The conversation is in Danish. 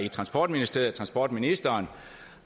at transportministeriet og transportministeren